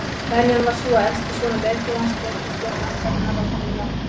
Venjan var sú að elsti sonur leiðtogans tók við stjórn ættarinnar að honum látnum.